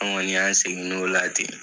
An kɔni an segin n'o la ten.